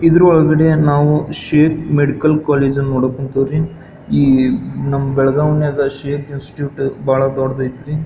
ಇದರ ಒಳಗಡೆ ನಾವು ಶೇಪ್ ಮೆಡಿಕಲ್ ಕಾಲೇಜ್ ಅನ್ನ ಕುಂತೀವ್ರಿ ನಮ್ಮ ಬೆಳಗಾವಿ ನಾಗ ಶೇಪ್ ಇನ್ಸ್ಟಿಟ್ಯೂಟ್ ಬಹಳ ದೊಡ್ಡದೈತ್ರಿ.